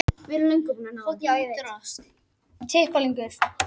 Heilkennið hefur verið greint um allan heim og kemur fyrir hjá öllum hópum mannkyns.